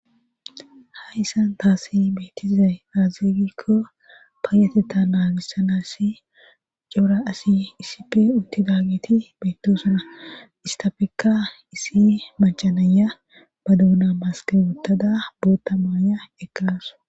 Hayssan taassi betizay aazee giiko payatetha nagiza cimma asi issippe uttidaage beetees. istappeka issi macca nayiya ba doona maske wotada booththa mayuwa ekkawus.